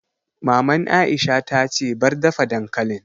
Maman Aisha ta ce 'Bar dafa dankalin'!